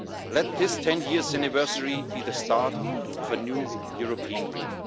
Let this 10 year anniversary be the start of a new European dream.